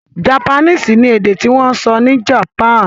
Japanese ni èdè tí wọ́n ń sọ ní Japan.